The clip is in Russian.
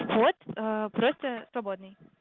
вход просто свободный